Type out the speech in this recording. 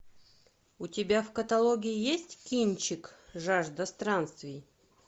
у тебя в каталоге есть кинчик жажда странствий